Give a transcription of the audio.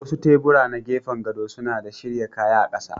Wasu tebura na gefen gado suna da shirya kaya a ƙasa.